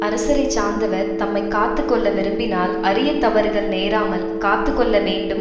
அரசரை சார்ந்தவர் தம்மை காத்து கொள்ள விரும்பினால் அரியத் தவறுகள் நேராமல் காத்து கொள்ள வேண்டும்